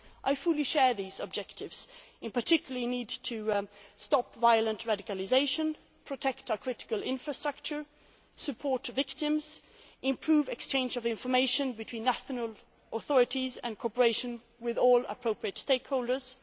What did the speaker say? terrorism. I fully share these objectives, in particular the need to stop violent radicalisation, protect our critical infrastructure, support victims, improve exchange of information between national authorities and cooperate with all appropriate